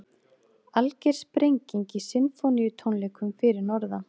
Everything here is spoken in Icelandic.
Alger sprenging í Sinfóníutónleikum fyrir norðan